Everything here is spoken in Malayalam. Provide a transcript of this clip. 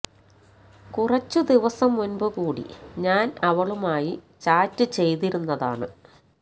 കുറച്ചു ദിവസം മുന്പു കൂടി ഞാന് അവളുമായി ചാറ്റ് ചെയ്തിരുന്നതാണ്